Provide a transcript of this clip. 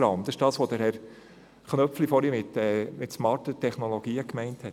Das ist es, was Herr Köpfli vorhin mit smarten Technologien gemeint hat.